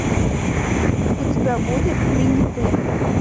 у тебя будет ты не ты